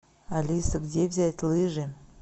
алиса где взять лыжи